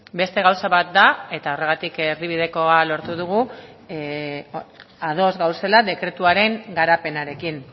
beste gauza bat da eta horregatik erdibidekoa lortu dugu ados gaudela dekretuaren garapenarekin